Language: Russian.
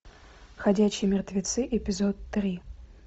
ходячие мертвецы эпизод три